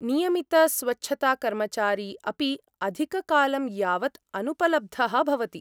नियमितस्वच्छताकर्मचारी अपि अधिककालं यावद् अनुपलब्धः भवति।